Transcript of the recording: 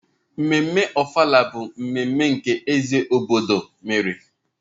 Ememme Ofala bụ mmemme nke eze obodo thr mere.